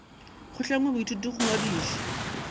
go hlangwe boithuti bo ngwadišwe